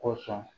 Kosɔn